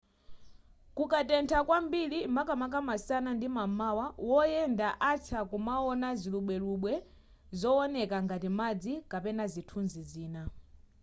kukatentha kwambiri makamaka masana ndi m'mawa woyenda atha kumaona zilubwelubwe zowoneka ngati madzi kapena zinthu zina